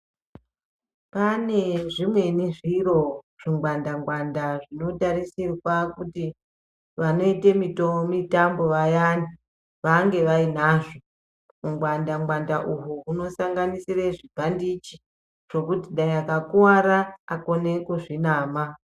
Pane zvimweni zviro zvingwanda ngwanda zvinotarisirwa kuti vanoite mitambo vayani vange vainazvo. Hungwanda ngwanda uhwu hunosanganisire zvibhandichi zvekuti dai ekakwara akone kuzvinama.